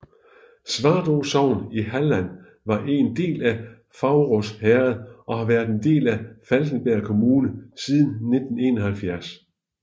Svartrå sogn i Halland var en del af Faurås herred og har været en del af Falkenbergs kommun siden 1971